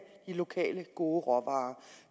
de lokale gode råvarer